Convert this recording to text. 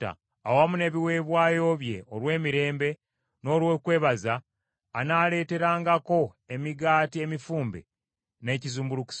Awamu n’ebiweebwayo bye olw’emirembe n’olw’okwebaza, anaaleeterangako emigaati emifumbe n’ekizimbulukusa.